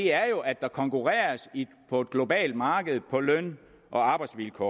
er jo at der konkurreres på et globalt marked på løn og arbejdsvilkår